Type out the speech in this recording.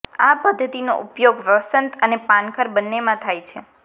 આ પદ્ધતિનો ઉપયોગ વસંત અને પાનખર બંનેમાં થાય છે